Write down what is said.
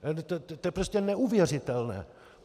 To je prostě neuvěřitelné!